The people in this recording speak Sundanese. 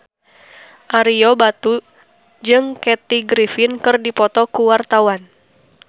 Ario Batu jeung Kathy Griffin keur dipoto ku wartawan